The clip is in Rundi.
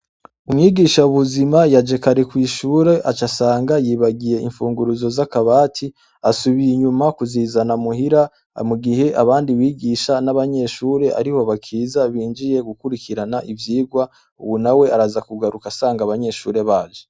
Umwigishabuzima yaje kare kw'ishure aca asanga yibagiye imfunguruzo z'akabati. Asubiye inyuma kuzizana muhira mugihe abandi bigisha n'abanyeshure ariho bakiza, binjiye gukwirikirana ivyigwa. Uwo nawe araza kugaruka asanga abanyeshure baje.